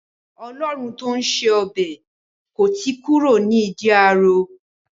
Ọlọ́run tó ń ṣe ọbẹ̀ kò tí kúrò ní ìdí ààrò.